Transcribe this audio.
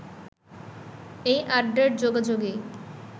এই আড্ডার যোগাযোগেই